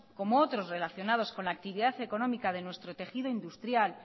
como otros relacionados con la actividad económica de nuestro tejido industrial